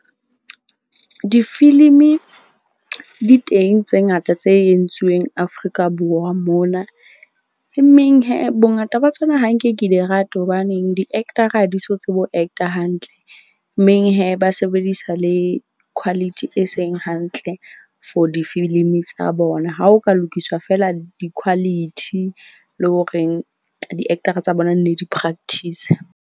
Difilimi di teng tse ngata tse entsweng Afrika Borwa mona. E meng bongata ba tsona ha nke ke di rate hobaneng di-actor-a ha di so tsebe ho actor hantle. Meng ba sebedisa le quality e seng hantle for difilimi tsa bona. Ha ho ka lokiswa feela di-quality le horeng di-actor-a tsa bona ne di practise.